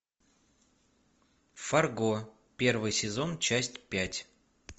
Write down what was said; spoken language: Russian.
фарго первый сезон часть пять